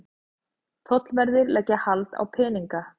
Tollverðir leggja hald á peninga